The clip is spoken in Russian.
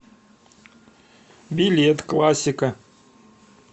билет классика